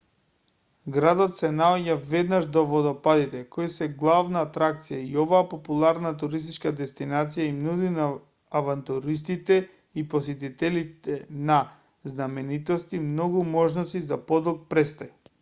градот се наоѓа веднаш до водопадите кои се главна атракција и оваа популарна туристичка дестинација им нуди на авантуристите и посетителите на знаменитости многу можности за подолг престој